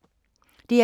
DR2